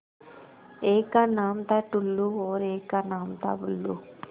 एक का नाम था टुल्लु और एक का नाम था बुल्लु